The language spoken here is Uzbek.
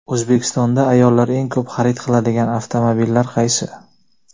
O‘zbekistonda ayollar eng ko‘p xarid qiladigan avtomobillar qaysi?.